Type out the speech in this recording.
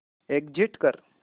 exit कर